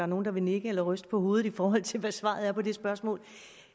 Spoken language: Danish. nogen der vil nikke eller ryste på hovedet i forhold til hvad svaret er på det spørgsmål